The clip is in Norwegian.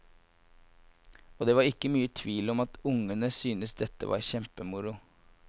Og det var ikke mye tvil om at ungene syntes dette var kjempemoro.